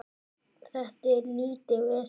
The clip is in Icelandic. Þetta er lítið vesen.